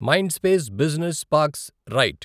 Mindspace business parks right